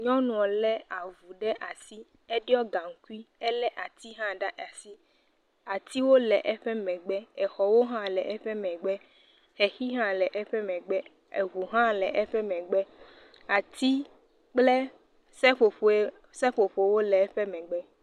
Nyɔnuɔ lé avu ɖe asi, eɖiɔ gaŋkui, elé ati hã ɖe asi, atiwo le eƒe megb, exɔwo hã le eƒe megbe, xexi hã le eƒe megbe, eŋu hã le eƒe megbe, ati kple seƒoƒoe seƒoƒowo le eƒe megbe.